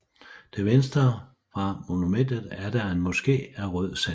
Til venstre fra monumentet er der en moske af rød sandsten